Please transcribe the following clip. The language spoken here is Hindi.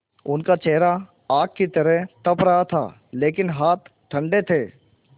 उनका चेहरा आग की तरह तप रहा था लेकिन हाथ ठंडे थे